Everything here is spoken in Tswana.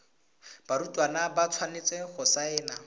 barutwana ba tshwanetse go saena